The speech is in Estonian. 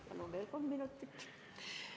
Palun veel kolm minutit!